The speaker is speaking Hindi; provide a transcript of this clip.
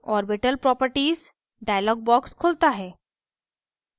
orbital properties dialog box खुलता है